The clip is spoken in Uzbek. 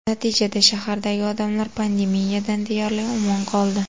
Natijada, shahardagi odamlar pandemiyadan deyarli omon qoldi.